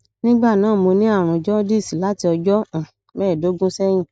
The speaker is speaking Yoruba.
nígbà náà mo ní àrùn jaundice láti ọjọ um mẹẹẹdógún sẹyìn